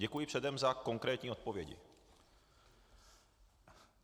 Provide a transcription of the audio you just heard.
Děkuji předem za konkrétní odpovědi.